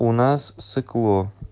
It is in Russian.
у нас сыкло